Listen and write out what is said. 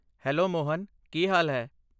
Hello Mohan, ਕੀ ਹਾਲ ਹੈ?